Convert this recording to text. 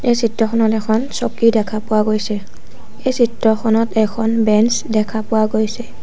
এই চিত্ৰখনট এখন চকী দেখা পোৱা গৈছে এই চিত্ৰখনট এখন বেঞ্চ দেখা পোৱা গৈছে।